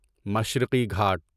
مشرقی گھاٹ